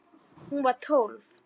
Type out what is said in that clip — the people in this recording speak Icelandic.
Hún var tólf.